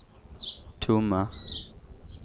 tomma